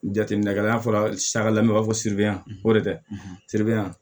Jateminɛ kɛ n'a fɔra saga lamɔ i b'a fɔ siriban ko de siri yan